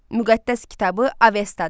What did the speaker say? Müqəddəs kitabı Avestadır.